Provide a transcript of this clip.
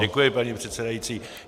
Děkuji, pane předsedající.